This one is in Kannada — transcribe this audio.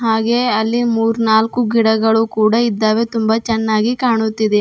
ಹಾಗೆ ಅಲ್ಲಿ ಮೂರ್ನಾಲ್ಕು ಗಿಡಗಳು ಕೂಡ ಇದ್ದಾವೆ ತುಂಬಾ ಚೆನ್ನಾಗಿ ಕಾಣುತ್ತಿದೆ.